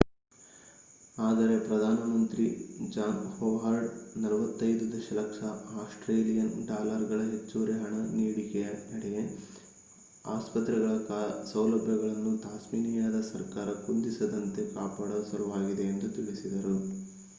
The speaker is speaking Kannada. ಆದರೆ ಪ್ರಧಾನ ಮಂತ್ರಿ ಜಾನ್ ಹೊವಾರ್ಡ್ 45 ದಶಲಕ್ಷ ಆಸ್ಟ್ರೇಲಿಯನ್ ಡಾಲರ್ಗಳ ಹೆಚ್ಚುವರಿ ಹಣ ನೀಡಿಕೆಯ ನಡೆ ಆಸ್ಪತ್ರೆಗಳ ಸೌಲಭ್ಯಗಳನ್ನು ತಾಸ್ಮೇನಿಯದ ಸರ್ಕಾರ ಕುಂದಿಸದಂತೆ ಕಾಪಾಡುವ ಸಲುವಾಗಿದೆ ಎಂದು ತಿಳಿಸಿದರು